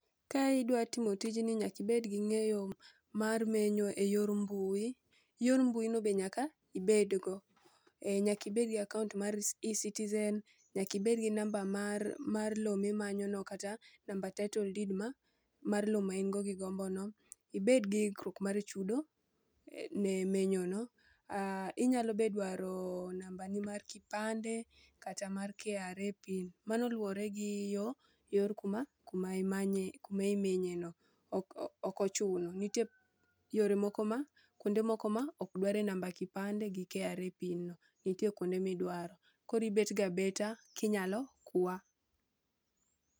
Ka idwa timo tijni nyakibed gi ng'eyo mar menyo e yor mbui, yor mbui no be nyaka ibed go. Ee nyakibed gi akaont mar e-Citizen, nyakibed gi namba mar mar lo mimanyo no. Kata namba title deed mar lo ma ingo gi gombo no, ibed gi ikruok mar chudo ne menyo no. Inyalo be dwaro namba ni mar kipande kata mar KRA pin, mano luwore gi yo yor kuma, kuma imanye kuma imenye no. Okochuno, nitie yore moko ma kuonde moko ma ok dware namba kipande gi KRA pin no. Koribet go abeta kinyalo kwa.